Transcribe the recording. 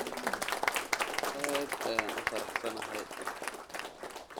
Aad ayaan u faraxsanahay